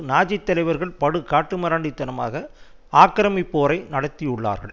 நாஜித்தலைவர்கள் படு காட்டு மிராண்டி தனமாக ஆக்கிரமிப்பு போரை நடத்தியுள்ளார்கள்